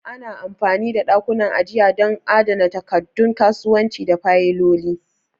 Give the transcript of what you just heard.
Ana amfani da ɗakunan ajiya don adana takaddun kasuwanci da fayiloli.